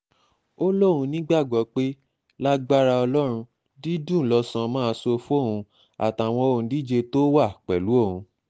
ó lóun nígbàgbọ́ pé lágbára ọlọ́run dídùn lọ́sàn máa sọ fóun àtàwọn òǹdíje tó wà pẹ̀lú òun